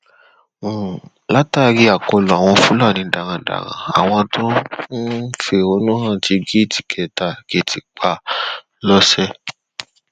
um latari akọlu awọn fulani darandaran, àwọn to n fi ẹhonu han ti jí